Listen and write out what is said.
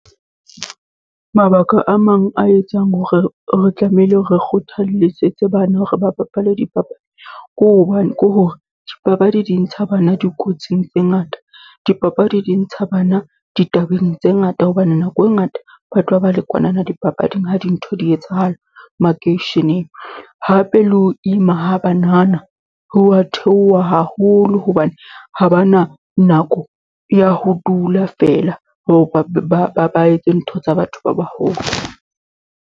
Mabaka a mang a etsang hore re tlamehile, re kgothaletse tse bana hore ba bapale dipapadi, ke hobane ke hore dipapadi di ntsha bana dikotsing tse ngata. Dipapadi di ntsha bana ditabeng tse ngata, hobane nako e ngata ba tloha ba le kwana na dipapading ha dintho di etsahala makeisheneng. Hape le ho ima ha banana, ho wa theoha haholo hobane ha ba na nako ya ho dula feela ho ba ba ba ba etse ntho tsa batho ba baholo.